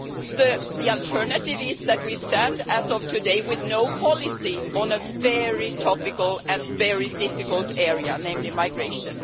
The alternative is that we stand, as of today, with no policy on a very topical and very difficult area, namely migration.